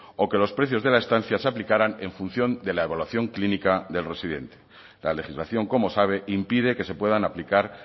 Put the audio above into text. o que los precios de la estancia se aplicaran en función de la evaluación clínica del residente la legislación como sabe impide que se puedan aplicar